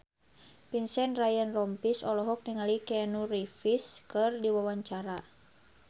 Vincent Ryan Rompies olohok ningali Keanu Reeves keur diwawancara